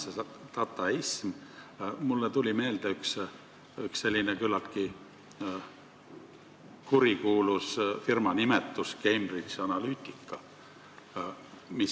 See dataism – mulle tuli meelde üks küllaltki kurikuulus firma nimega Cambridge Analytica.